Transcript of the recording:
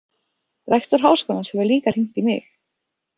Rektor Háskólans hefur líka hringt í mig.